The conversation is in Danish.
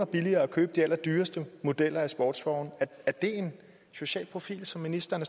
billigere at købe de allerdyreste modeller af sportsvogne er det en social profil som ministeren